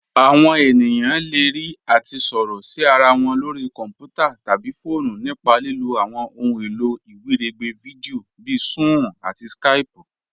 Àwọn ènìyàn le rí àti sọ̀rọ̀ sí ara wọn lórí kọ̀nputà̀ tabí fọọ̀nù nípa lílò àwọn òhun èlò iwiregbè fídíò bíì Sún-ún àti Skáypù.